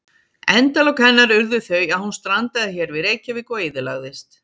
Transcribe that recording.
Endalok hennar urðu þau að hún strandaði hér við Reykjavík og eyðilagðist.